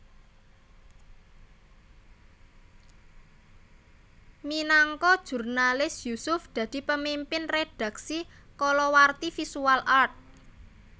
Minangka jurnalis Yusuf dadi pemimpin redhaksi kalawarti Visual Art